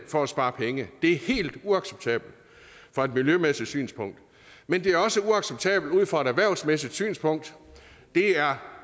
for at spare penge det er helt uacceptabelt fra et miljømæssigt synspunkt men det er også uacceptabelt ud fra et erhvervsmæssigt synspunkt det er